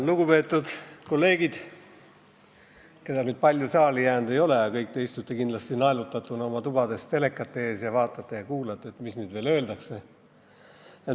Lugupeetud kolleegid, keda saali palju jäänud ei ole, aga kõik te istute kindlasti oma tubades teleka ette naelutatuna ning vaatate ja kuulate, mis nüüd veel öeldakse.